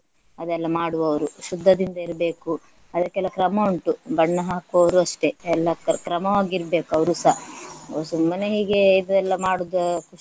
ಅದೆಲ್ಲ ಮಾಡುವವರು ಶುದ್ದದಿಂದ ಇರ್ಬೇಕು ಅದಕ್ಕೆಲ್ಲ ಕ್ರಮ ಉಂಟು ಬಣ್ಣ ಹಾಕುವವರು ಅಷ್ಟೇ ಎಲ್ಲಾ ಕ್ರಮವಾಗಿರ್ಬೇಕು ಅವರುಸ. ಸುಮ್ಮನೆ ಹೀಗೆ ಇದೆಲ್ಲಾ ಮಾಡುವುದು